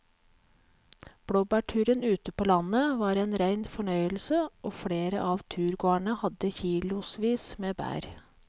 Blåbærturen ute på landet var en rein fornøyelse og flere av turgåerene hadde kilosvis med bær.